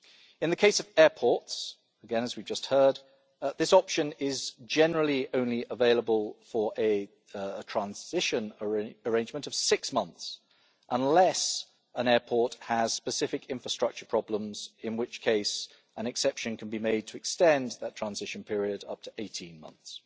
In the case of airports again, as we have just heard this option is generally only available for a transition arrangement of six months unless an airport has specific infrastructure problems, in which case an exception can be made to extend that transition period up to 18 months.